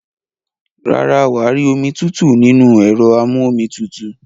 Rárá, wà á rí omi tútù nínú ẹ̀rọ amú-omi tutù.